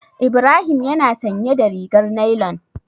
Ibrahim yana sanye da rigar nailan.